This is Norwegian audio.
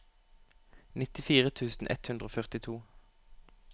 nittifire tusen ett hundre og førtito